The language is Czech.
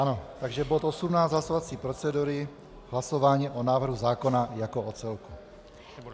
Ano, takže bod 18 hlasovací procedury, hlasování o návrhu zákona jako o celku.